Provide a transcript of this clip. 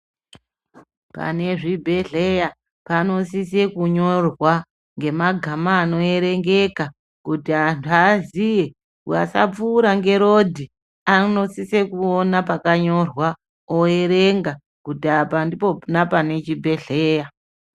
Pane zvibhedhlera panosisa kunyorwa ngemagama anoerengeka kuti antu aziye vasapfuura nerodhi vanosisa kuona pakanyorwa oerenga kuti apa ndipona pane chibhedhlera.